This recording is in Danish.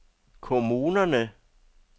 kommunerne